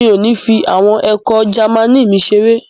Mi ò ní fi àwọn ẹ̀kọ́ Jámánì mi ṣeré.